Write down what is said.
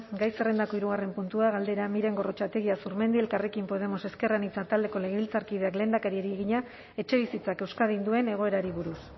gai zerrendako hirugarren puntua galdera miren gorrotxategi azurmendi elkarrekin podemos ezker anitza taldeko legebiltzarkideak lehendakariari egina etxebizitzak euskadin duen egoerari buruz